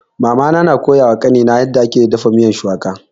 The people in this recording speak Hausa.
Mama na koya wa kani na yarda ake dafa miyan shuwaka